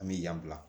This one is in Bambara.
An bɛ yan bila